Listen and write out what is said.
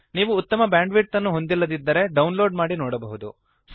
ನೀವು ಉತ್ತಮವಾದ ಬ್ಯಾಂಡ್ವಿಡ್ತ್ ಅನ್ನು ಹೊಂದಿಲ್ಲದಿದ್ದರೆ ಡೌನ್ಲೋಡ್ ಮಾಡಿ ನೋಡಬಹುದು